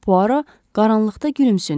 Puaro qaranlıqda gülümsündü.